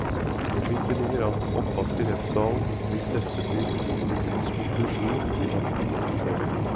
Hvorvidt det ligger an til oppvask i rettssalen hvis dette blir politikernes konklusjon, vil han ikke kommentere.